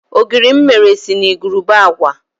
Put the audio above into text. Ogiri m mere si na igurube agwa.